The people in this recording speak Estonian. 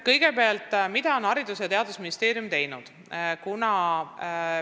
Kõigepealt, mida on Haridus- ja Teadusministeerium teinud?